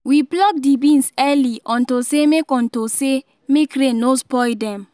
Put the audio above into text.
we pluck the beans early unto say make unto say make rain no spoil dem